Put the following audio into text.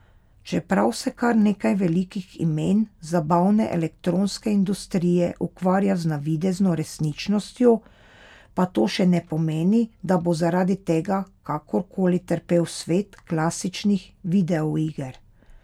Čeprav se kar nekaj velikih imen zabavne elektronske industrije ukvarja z navidezno resničnostjo, pa to še ne pomeni, da bo zaradi tega kakor koli trpel svet klasičnih videoiger.